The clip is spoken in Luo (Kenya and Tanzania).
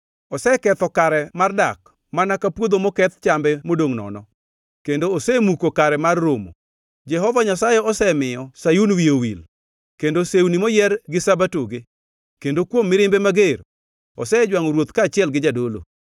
Oseketho kare mar dak mana ka puodho moketh chambe modongʼ nono, kendo osemuko kare mar romo. Jehova Nyasaye osemiyo Sayun wiye owil kod sewni moyier gi Sabatoge; kendo kuom mirimbe mager, osejwangʼo ruoth kaachiel gi jadolo.